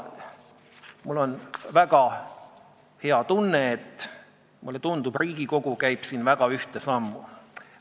Mul on väga hea tunne, sest mulle tundub, et Riigikogu käib siin väga ühte sammu.